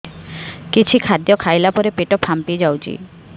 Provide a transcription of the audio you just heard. କିଛି ଖାଦ୍ୟ ଖାଇଲା ପରେ ପେଟ ଫାମ୍ପି ଯାଉଛି